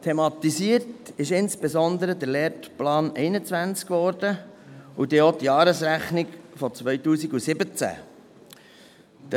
Thematisiert wurden insbesondere der Lehrplan 21 und die Jahresrechnung von 2017.